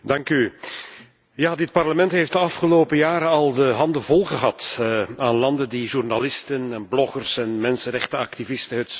Ja, dit parlement heeft de afgelopen jaren al de handen vol gehad aan landen die journalisten, bloggers en mensenrechtenactivisten het zwijgen opleggen.